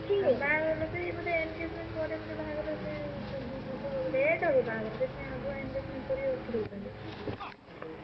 ବାହାଘର ସେଇ ବୋଧେ engagement ପରେ ବୋଧେ ବାହାଘର ସେ late ହବ ବାହାଘର ସେଥିପାଇଁ ଆଗୁଆ engagement କରି ରଖିଦଉଛନ୍ତି ।